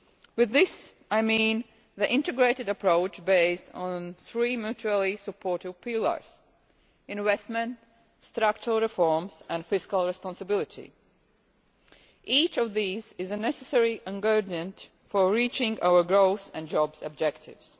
By this I mean the integrated approach based on three mutually-supportive pillars investment, structural reforms and fiscal responsibility. Each of these is a necessary ingredient for reaching our growth and jobs objectives.